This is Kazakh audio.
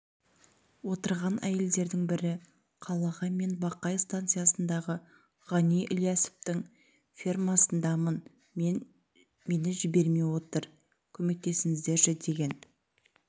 отырған әйелдердің бірі қалаға мен бақай станциясындағы ғани ілиясовтың фермасындамын мені жібермей жатыр көмектесіңіздерші деген